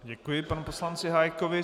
Děkuji panu poslanci Hájkovi.